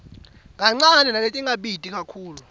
kancane naletingabiti kakhulu